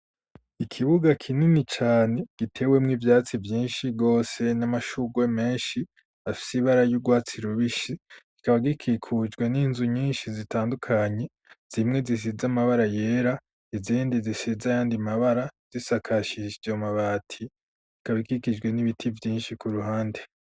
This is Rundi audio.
Ikibuga kinini cane gitewemwo ibyatsi byinshi gose n'amashugwe menshi afise ibara y'urwatsi rubishi ikaba gikikujwe n'inzu nyinshi zitandukanye zimwe zisiz amabara yera izindi zisiza yandi mabara zisakashis yomabati ikaba ikikijwe n'ibiti byinshi ku ruhande.